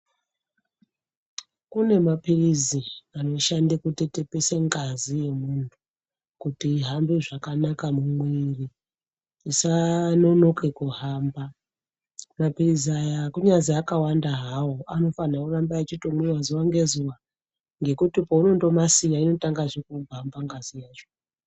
Kune mapirizi anoshanda kutetepesa ngazi kuti ihambe zvakanaka kuti isanonoke kuhamba mapirizi awa kunyazi akawanda hawo anofanirwa kuramba achihamba zuwa ngezuwa ngekuti paunomasiya inotangezve kugwamba ngazi yacho.